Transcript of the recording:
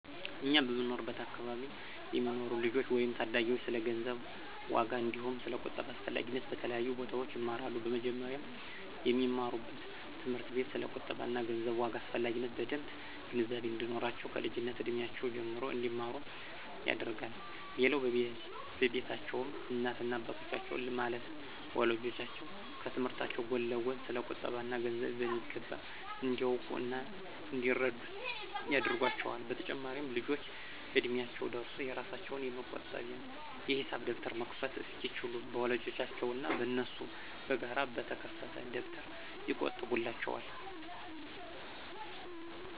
እኛ በምንኖርበት አከባቢ የሚኖሩ ልጆች ወይም ታዳጊዎች ስለ ገንዘብ ዋጋ አንዲሁም ስለ ቁጠባ አስፈላጊነት በተለያዩ ቦታዎች ይማራሉ። በመጀመሪያም በሚማሩበት ትምህርት ቤት ስለ ቁጠባ እና ገንዘብ ዋጋ አስፈላጊነት በደምብ ግንዛቤ እንዲኖራቸው ከልጅነት እድሜያቸው ጀምሮ እንዲማሩ ይደረጋል። ሌላው በቤታቸውም እናት እና አባቶቻቸው ማለትም ወላጆቻቸው ከትምህርታቸው ጎን ለጎን ስለ ቁጠባ እና ገንዘብ በሚገባ እንዲያውቁ እና እንዲረዱት ያደርጓቸዋል። በተጨማሪም ልጆቹ እድሚያቸው ደርሶ የራሳቸውን የመቆጠቢያ የሂሳብ ደብተር መክፈት እስኪችሉ በወላጆቻቸው እና በነሱ በጋራ በተከፈተ ደብተር ይቆጥቡላቸዋል።